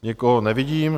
Nikoho nevidím.